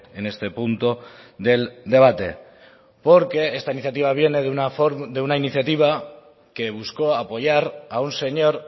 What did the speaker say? en este punto del debate porque esta iniciativa viene de una iniciativa que buscó apoyar a un señor